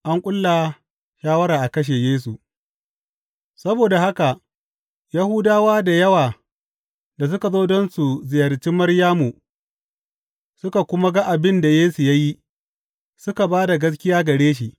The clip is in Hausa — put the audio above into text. An ƙulla shawara a kashe Yesu Saboda haka Yahudawa da yawa da suka zo don su ziyarci Maryamu, suka kuma ga abin da Yesu ya yi, suka ba da gaskiya gare shi.